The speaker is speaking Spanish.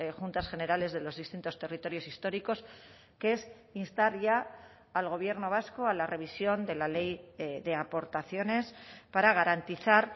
juntas generales de los distintos territorios históricos que es instar ya al gobierno vasco a la revisión de la ley de aportaciones para garantizar